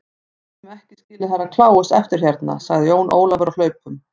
Við getum ekki skilið Herra Kláus eftir hérna, sagði Jón Ólafur á hlaupunum.